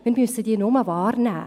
Wir müssen sie nur wahrnehmen.